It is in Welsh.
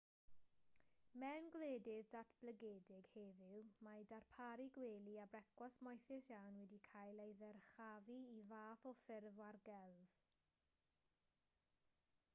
mewn gwledydd datblygedig heddiw mae darparu gwely a brecwast moethus iawn wedi cael ei ddyrchafu i fath o ffurf ar gelf